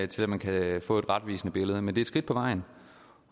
til at man kan få et retvisende billede men det skridt på vejen